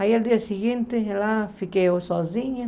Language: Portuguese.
Aí, no dia seguinte, fiquei sozinha.